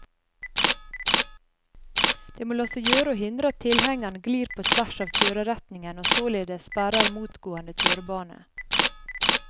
Det må la seg gjøre å hindre at tilhengeren glir på tvers av kjøreretningen og således sperrer motgående kjørebane.